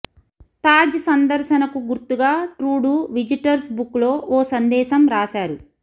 తాజ్ సందర్శనకు గుర్తుగా Trudeau visitors బుక్లో ఓ సందేశం రాశారు